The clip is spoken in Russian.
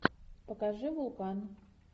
покажи вулкан